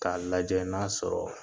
K'a lajɛ n'a sɔrɔ